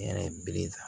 N yɛrɛ ye bere ta